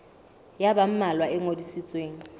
ya ba mmalwa e ngodisitsweng